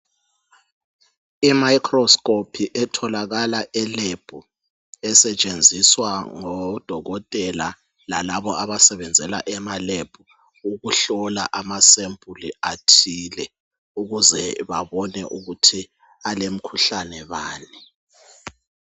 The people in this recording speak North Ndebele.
I microscope etholakala elebhu esetshenziswa ngodokotela lalabo abasebenzela emalebhu ukuhlola ama sample athile ukuze babone ukuthi kulomkhuhlane bani.